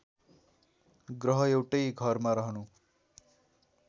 ग्रह एउटै घरमा रहनु